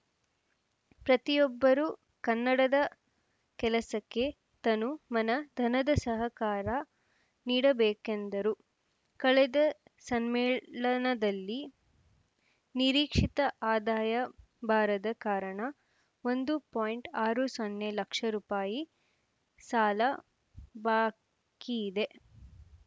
ಪ್ರತಿಯೊಬ್ಬರೂ ಕನ್ನಡದ ಕೆಲಸಕ್ಕೆ ತನು ಮನ ಧನದ ಸಹಕಾರ ನೀಡಬೇಕೆಂದರು ಕಳೆದ ಸಮ್ಮೇಳನದಲ್ಲಿ ನಿರೀಕ್ಷಿತ ಆದಾಯ ಬಾರದ ಕಾರಣ ಒಂದು ಪಾಯಿಂಟ್ ಆರು ಸೊನ್ನೆ ಲಕ್ಷ ರುಪಾಯಿ ಸಾಲ ಬಾಕಿಯಿದೆ